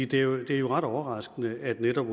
det er jo ret overraskende at netop